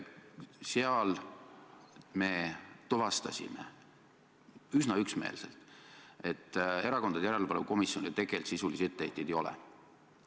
Seal me tuvastasime üsna üksmeelselt, et Erakondade Rahastamise Järelevalve Komisjonile tegelikult sisulisi etteheiteid ei ole.